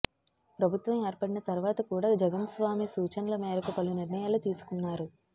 ప్రభుత్వం ఏర్పడిన తర్వాత కూడా జగన్ స్వామి సూచనల మేరకు పలు నిర్ణయాలు తీసుకున్నారు